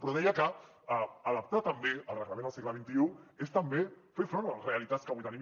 però deia que adaptar també el reglament al segle xxi és també fer front a les realitats que avui tenim